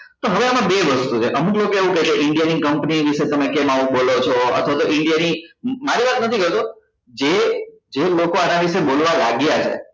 તો હવે આમાં બે વસ્તુ છે અમુક લોકો આવું કેસે india ની company વિશે તમે કેમ આવું બોલો છો અથવા તો india ની મારી વાત નથી કરતો જે જે લોકો આના વિશે બોલવા લાગ્યા છે